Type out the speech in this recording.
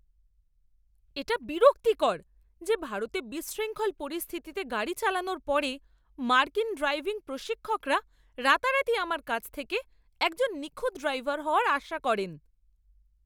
এটা বিরক্তিকর যে ভারতে বিশৃঙ্খল পরিস্থিতিতে গাড়ি চালানোর পরে মার্কিন ড্রাইভিং প্রশিক্ষকরা রাতারাতি আমার কাছ থেকে একজন নিখুঁত ড্রাইভার হওয়ার আশা করেন।